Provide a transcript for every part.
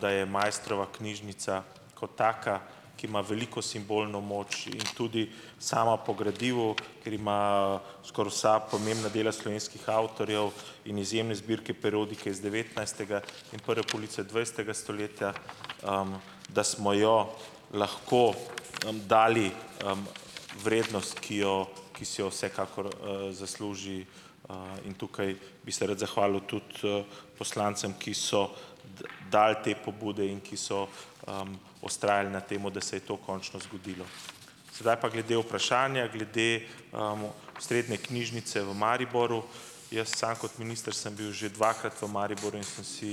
da je Maistrova knjižnica kot taka, ki ima veliko simbolno moč in tudi sama po gradivu, ker ima skoraj vsa pomembna dela slovenskih avtorjev in izjemne zbirke periodike iz devetnajstega in prve polovice dvajsetega stoletja - da smo jo lahko dali vrednost, ki jo ki si jo vsekakor zasluži. in tukaj bi se rad zahvalil tudi poslancem, ki so dali te pobude in ki so vztrajali na tem, da se je to končno zgodilo. Sedaj pa glede vprašanja. Glede osrednje knjižnice v Mariboru. Jaz samo kot minister sem bil že dvakrat v Mariboru in sem si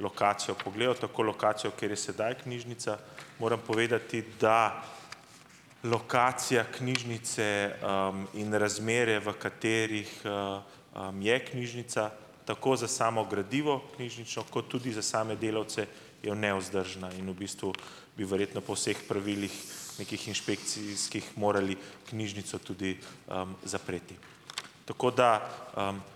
lokacijo pogledal. Tako lokacijo, kjer je sedaj knjižnica. Moram povedati, da lokacija knjižnice in razmere, v katerih je knjižnica - tako za samo gradivo knjižnično kot tudi za same delavce -, je nevzdržna. In v bistvu bi verjetno po vseh pravilih nekih inšpekcijskih morali knjižnico tudi zapreti. Tako da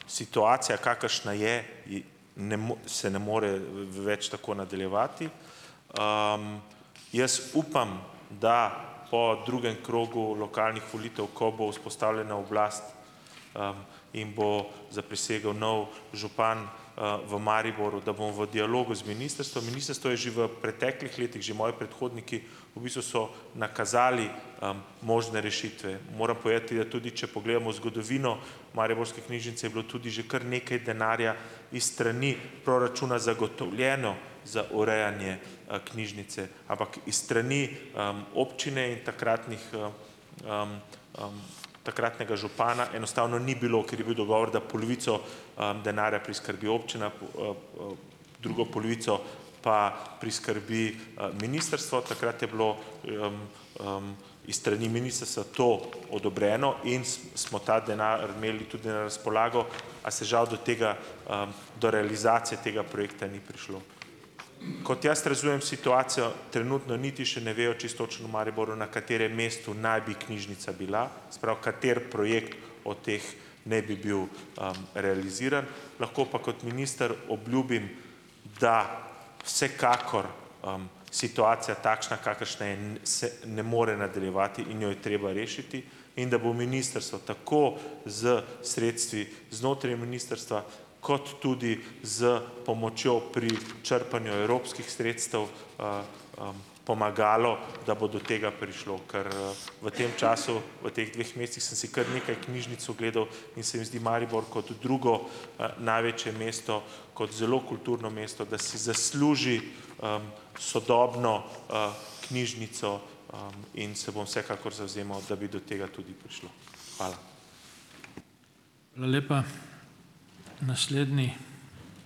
situacija, kakršna je - ne se ne more več tako nadaljevati. jaz upam, da po drugem krogu lokalnih volitev, ko bo vzpostavljena oblast in bo zaprisegel nov župan v Mariboru, da bomo v dialogu z ministrstvom - ministrstvo je že v preteklih letih, že moji predhodniki v bistvu so nakazali možne rešitve. Moram povedati, da tudi če pogledamo zgodovino Mariborske knjižnice, je bilo tudi že kar nekaj denarja iz strani proračuna zagotovljeno za urejanje knjižnice, ampak iz strani občine in takratnih takratnega župana enostavno ni bilo, ker je bil dogovor, da polovico denarja priskrbi občina, drugo polovico pa priskrbi ministrstvo. Takrat je bilo iz strani ministrstva to odobreno in smo ta denar imeli tudi na razpolago, a se žal do tega do realizacije tega projekta ni prišlo. Kot jaz razumem situacijo, trenutno niti še ne vejo čisto točno v Mariboru, na katerem mestu naj bi knjižnica bila. Se pravi, kateri projekt od teh naj bi bil realiziran. Lahko pa kot minister obljubim, da vsekakor situacija takšna, kakršna je, se ne more nadaljevati in jo je treba rešiti in da bo ministrstvo tako s sredstvi znotraj ministrstva, kot tudi s pomočjo pri črpanju evropskih sredstev pomagalo, da bo do tega prišlo, ker v tem času, v teh dveh mesecih, sem si kar nekaj knjižnic ogledal, in se mi zdi Maribor, kot drugo največje mesto, kot zelo kulturno mesto, da si zasluži sodobno knjižnico, in se bom vsekakor zavzemal, da bi do tega tudi prišlo. Hvala.